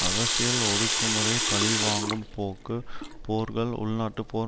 அரசியல் ஒடுக்குமுறை பழி வாங்கும் போக்கு போர்கள் உள்நாட்டுப் போர்